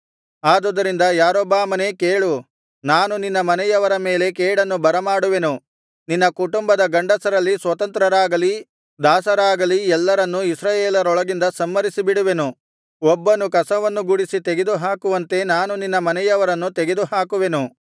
ಆದುದರಿಂದ ಯಾರೊಬ್ಬಾಮನೇ ಕೇಳು ನಾನು ನಿನ್ನ ಮನೆಯವರ ಮೇಲೆ ಕೇಡನ್ನು ಬರಮಾಡುವೆನು ನಿನ್ನ ಕುಟುಂಬದ ಗಂಡಸರಲ್ಲಿ ಸ್ವತಂತ್ರರಾಗಲಿ ದಾಸರಾಗಲಿ ಎಲ್ಲರನ್ನೂ ಇಸ್ರಾಯೇಲರೊಳಗಿಂದ ಸಂಹರಿಸಿಬಿಡುವೆನು ಒಬ್ಬನು ಕಸವನ್ನು ಗುಡಿಸಿ ತೆಗೆದುಹಾಕುವಂತೆ ನಾನು ನಿನ್ನ ಮನೆಯವರನ್ನು ತೆಗೆದುಹಾಕುವೆನು